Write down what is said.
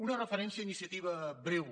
una referència a iniciativa breu